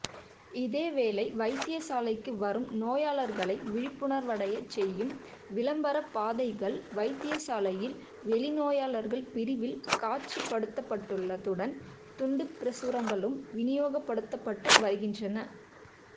இதேவேளை வைத்தியசாலைக்கு வரும் நோயாளர்களை விழிப்புணர்வடையச் செய்யும் விளம்பரப்பதாதைகள் வைத்தியசாலையில் வெளிநோயாளர் பிரிவில் காட்சிப்படுத்தப்பட்டுள்ளதுடன் துண்டுப்பிரசுரங்களும் விநியோகப்படுத்தப்பட்டு வருகின்றன